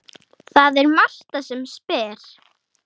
Það er Marta sem spyr.